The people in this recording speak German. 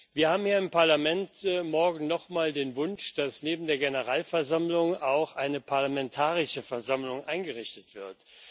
Wir haben hier im Parlament morgen noch mal den Wunsch, dass neben der Generalversammlung auch eine parlamentarische Versammlung eingerichtet wird.